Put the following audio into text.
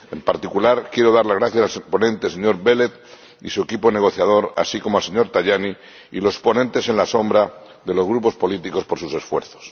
En particular, quiero dar las gracias al ponente, el señor Belet, y a su equipo negociador, así como al señor Tajani y a los ponentes alternativos de los grupos políticos, por sus esfuerzos.